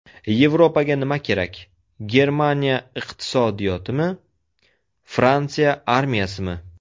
Yevropaga nima kerak: Germaniya iqtisodiyotimi, Fransiya armiyasimi?